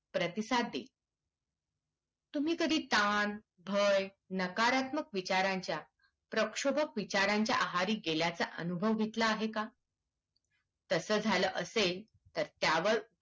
प्रतिसाद देईल तुम्ही कधी ताण भय नकारत्मक विचारांच्या प्रक्षोभक विचारांच्या आहारी गेल्याचा अनुभव घेतला आहे का तसा झालं असेल तर त्यावर